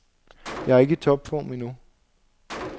Jeg er ikke i topform endnu.